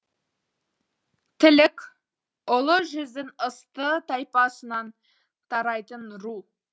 тілік ұлы жүздің ысты тайпасынан тарайтын ру